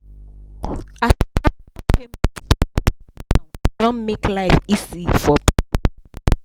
a e don make life easy for.